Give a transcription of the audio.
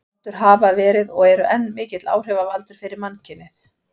Rottur hafa verið, og eru enn, mikill áhrifavaldur fyrir mannkynið.